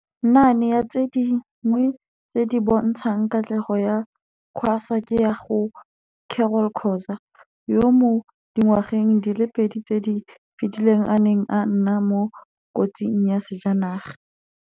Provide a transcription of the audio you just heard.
Naane ya tse dingwe tse di bontshang katlego ya QASA ke ya ga Carol Khoza, yo mo dingwageng di le pedi tse di fetileng a neng a nna mo kotsing ya sejanaga.